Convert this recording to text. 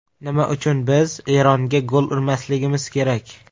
Nima uchun biz Eronga gol urmasligimiz kerak?